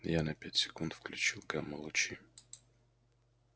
я на пять секунд включил гамма-лучи